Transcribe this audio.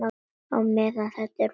Á meðan þetta er bara.